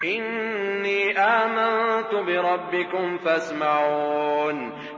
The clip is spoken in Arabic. إِنِّي آمَنتُ بِرَبِّكُمْ فَاسْمَعُونِ